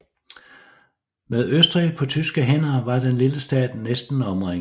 Med Østrig på tyske hænder var den lille stat næsten omringet